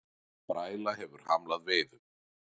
Bræla hefur hamlað veiðum